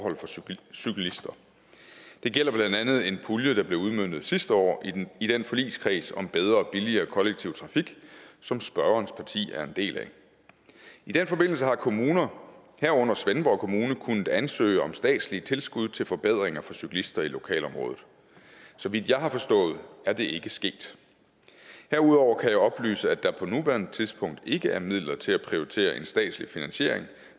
cyklister det gælder blandt andet en pulje der blev udmøntet sidste år i i den forligskreds om bedre og billigere kollektiv trafik som spørgerens parti er en del af i den forbindelse har kommuner herunder svendborg kommune kunnet ansøge om statslige tilskud til forbedringer for cyklister i lokalområdet så vidt jeg har forstået det er det ikke sket herudover kan jeg oplyse at der på nuværende tidspunkt ikke er midler til at prioritere en statslig finansiering